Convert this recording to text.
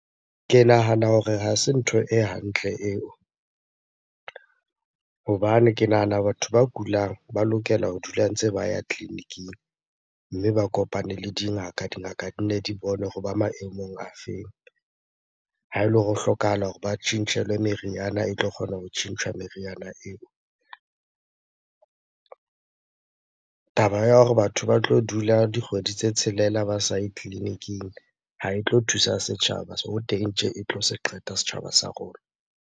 Ke nahana hore ha se ntho e hantle eo hobane ke nahana batho ba kulang ba lokela ho dula ntse ba ya tleliniking mme ba kopane le dingaka, dingaka di nne di bone hore ba maemong a feng? Ha ele hore ho hlokahala hore ba tjhentjhelwe meriana e tlo kgona ho tjhentjha meriana eo. Taba ya hore batho ba tlo dula dikgwedi tse tshelela ba sa ye tleliniking ha e tlo thusa setjhaba. Teng tje e tlo se qeta setjhaba sa rona.